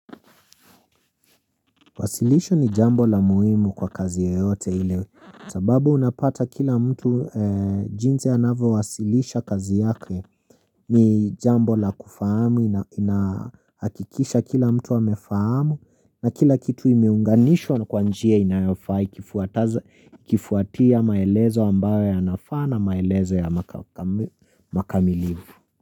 Wasilisho ni jambo la muhimu kwa kazi ya yote ile sababu unapata kila mtu jinsi anavowasilisha kazi yake ni jambo la kufahamu inahakikisha kila mtu amefahamu na kila kitu imeunganishwa na kwa njia inayofaa ikifuatia maelezo ambayo yanafaa na maelezo ya makamilivu.